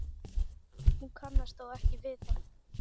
Hún kannast þó við það.